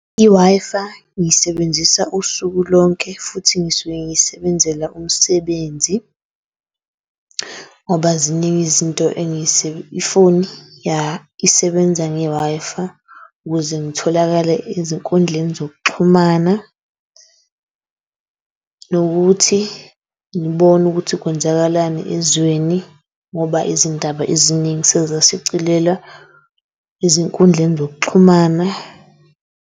I-Wi-Fi ngiyisebenzisa usuku lonke futhi ngisuke ngiyisebenzela umsebenzi ngoba ziningi izinto i-phone ya isebenza nge-Wi-Fi ukuze ngitholakale ezinkundleni zokuxhumana nokuthi ngibone ukuthi kwenzakalani ezweni. Ngoba izindaba eziningi sezisicilelwa ezinkundleni zokuxhumana.